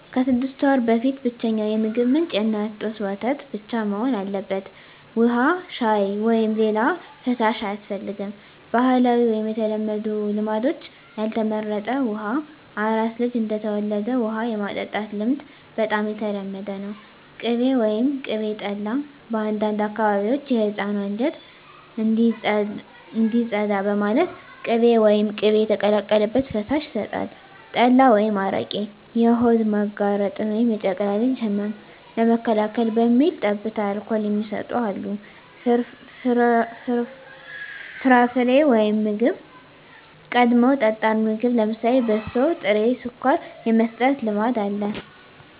ከ6 ወር በፊት ብቸኛው የምግብ ምንጭ የእናት ጡት ወተት ብቻ መሆን አለበት። ውሃ፣ ሻይ፣ ወይም ሌላ ፈሳሽ አያስፈልግም። -ባህላዊ/የተለመዱ ልማዶች (ያልተመረጠ): ውሃ: አራስ ልጅ እንደተወለደ ውሃ የማጠጣት ልማድ በጣም የተለመደ ነው። ቅቤ/ቅቤ ጠላ: በአንዳንድ አካባቢዎች የሕፃኑ አንጀት እንዲጸዳ በማለት ቅቤ ወይም ቅቤ የተቀላቀለበት ፈሳሽ ይሰጣል። ጠላ/አረቄ: የሆድ መጋረጥን (የጨቅላ ልጅ ህመም) ለመከላከል በሚል ጠብታ አልኮል የሚሰጡ አሉ። ፍርፍሬ/ምግብ: ቀድመው ጠጣር ምግብ (ለምሳሌ በሶ፣ ጥሬ ስኳር) የመስጠት ልማድ አለ።